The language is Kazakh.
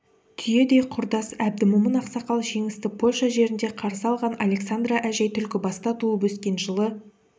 түйедей құрдас әбдімомын ақсақал жеңісті польша жерінде қарсы алған александра әжей түлкібаста туып өскен жылы